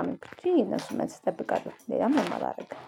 አመልክቼ እነሱን መልስ እጠብቃለው ሌላም ምንም አላደርግም።